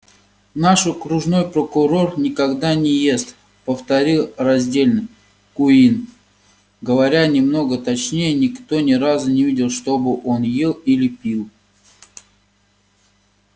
наш окружной прокурор никогда не ест повторил раздельно куинн говоря немного точнее никто ни разу не видел чтобы он ел или пил